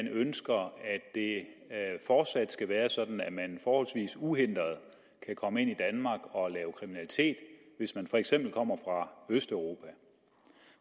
ønsker at det fortsat skal være sådan at man forholdsvis uhindret kan komme ind i danmark og lave kriminalitet hvis man for eksempel kommer fra østeuropa